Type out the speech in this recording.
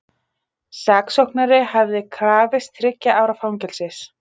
Saksóknari hafði krafist þriggja ára fangelsis